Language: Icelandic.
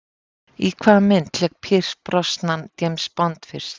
Í hvaða mynd lék Pierce Brosnan James Bond fyrst?